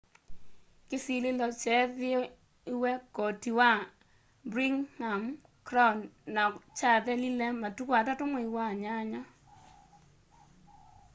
kĩsilĩlo kyeethĩĩwe koti wa birningham crown na kyathelile matũkũ 3 mwai wa nyanya